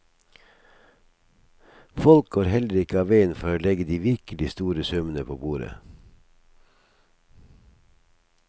Folk går heller ikke av veien for å legge de virkelig store summene på bordet.